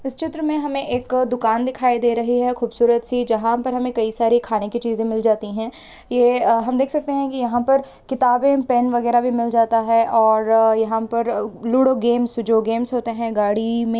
इस चित्र मे हमे एक दुकान दिखाई दे रही है खूबसूरत सी जहा पर हमे कई सारे खाने की चीजे मिल जाती है ये हम देख सकते है यहा पर किताबे पेन वगैरा भी मिल जाता है और यहा पर लूडो गेम्स जो गेम्स होते है गाड़ी मे --